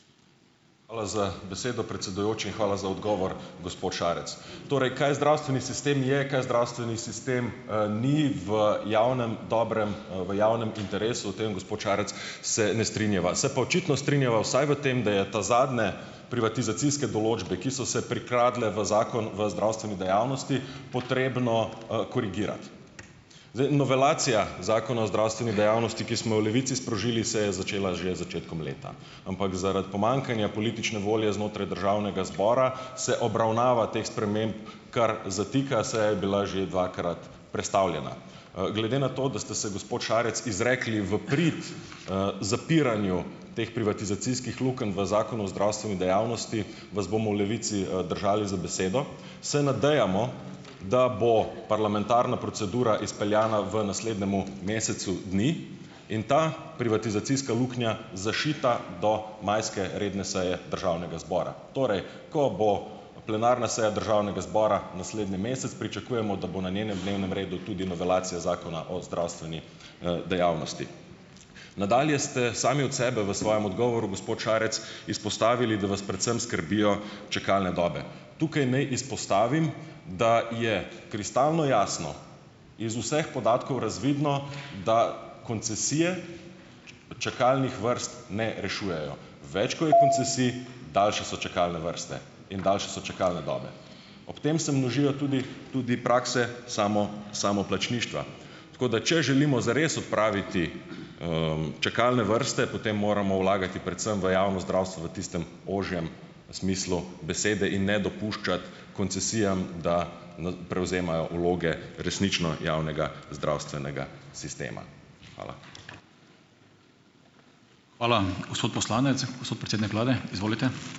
Hvala za besedo, predsedujoči, in hvala za odgovor, gospod Šarec. Torej, kaj zdravstveni sistem je, kaj zdravstveni sistem, ni v javnem dobrem, v javnem interesu - o tem, gospod Šarec, se ne strinjava. Se pa očitno strinjava vsaj v tem, da je ta zadnje privatizacijske določbe, ki so se prikradle v Zakon v zdravstveni dejavnosti, potrebno, korigirati. novelacija Zakona o zdravstveni dejavnosti, ki smo v Levici sprožili, se je začela že začetkom leta. Ampak zaradi pomanjkanja politične volje znotraj državnega zbora se obravnava teh sprememb kar zatika, seja je bila že dvakrat prestavljena. Glede na to, da ste se gospod Šarec izrekli v prid, zapiranju teh privatizacijskih lukenj v Zakonu v zdravstveni dejavnosti, vas bomo v Levici, držali za besedo. Se nadejamo, da bo parlamentarna procedura izpeljana v naslednjemu mesecu dni in ta privatizacijska luknja zašita do majske redne seje državnega zbora. Torej, ko bo plenarna seja državnega zbora naslednji mesec pričakujemo, da bo na njenem dnevnem redu tudi novelacija Zakona o zdravstveni, dejavnosti. Nadalje ste sami od sebe v svojem odgovoru, gospod Šarec, izpostavili, da vas predvsem skrbijo čakalne dobe. Tukaj ni izpostavim, da je kristalno jasno iz vseh podatkov razvidno, da koncesije čakalnih vrst ne rešujejo. Več, ko je koncesij, daljše so čakalne vrste in daljše so čakalne dobe. Ob tem se množijo tudi tudi prakse samoplačništva. Tako da če želimo zares odpraviti, čakalne vrste, potem moramo vlagati predvsem v javno zdravstvo v tistem ožjem smislu besede in ne dopuščati koncesijam, da, prevzemajo vloge resnično javnega zdravstvenega sistema. Hvala. Hvala, gospod poslanec. Gospod predsednik vlade, izvolite.